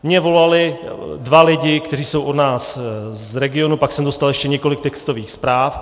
Mně volali dva lidé, kteří jsou od nás z regionu, pak jsem dostal ještě několik textových zpráv.